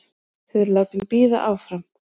Þau eru látin bíða áfram.